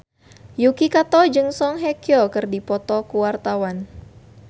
Yuki Kato jeung Song Hye Kyo keur dipoto ku wartawan